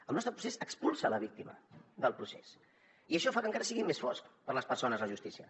el nostre procés expulsa la víctima del procés i això fa que encara sigui més fosca per a les persones la justícia